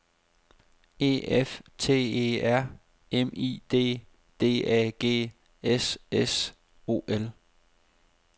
E F T E R M I D D A G S S O L